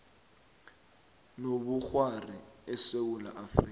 nobukghwari esewula afrika